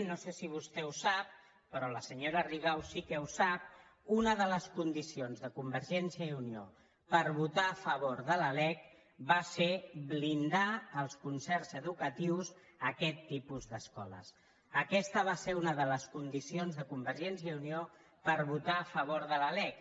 no sé si vostè ho sap però la senyora rigau sí que ho sap una de les condicions de convergència i unió per votar a favor de la lec va ser blindar els concerts educatius a aquest tipus d’escoles aquesta va ser una de les condicions de convergència i unió per votar a favor de la lec